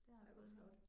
Ej hvor flot